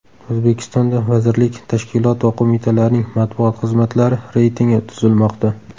O‘zbekistonda vazirlik, tashkilot va qo‘mitalarning matbuot xizmatlari reytingi tuzilmoqda.